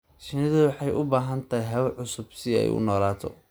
Shinnidu waxay u baahan tahay hawo cusub si ay u noolaato.